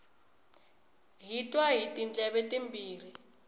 hi twa hi tindleve timbirhi